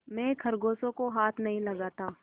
मैं खरगोशों को हाथ नहीं लगाता